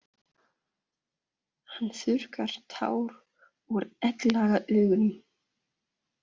Hann þurrkar tár úr egglaga augunum.